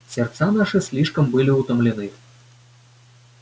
сердца наши слишком были утомлены